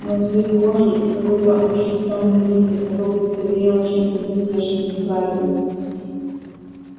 но цвет кожи и какой-то общий странный вид от него будто веяло чем-то нездешним неправильным